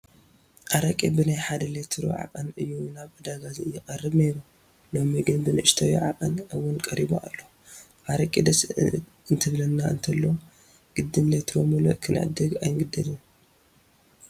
ኣረቂ ብናይ ሓደ ሊትሮ ዓቐን እዩ ናብ ዕዳጋ ይቐርብ ነይሩ፡፡ ሎሚ ግን ብንኡሽተይ ዓቐን እውን ቀሪቡ ኣሎ፡፡ ኣረቂ ደስ እንትብለና እንተሎ ግድን ሌትሮ ሙሉእ ክንዕድግ ኣይንግደድን፡፡